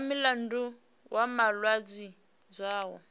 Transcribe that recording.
nga mulandu wa malwadze zwao